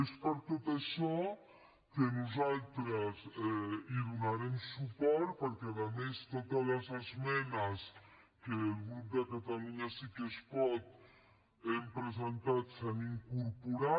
és per tot això que nosaltres hi donarem suport perquè a més totes les esmenes que el grup de catalunya sí que es pot hem presentat s’hi han incorporat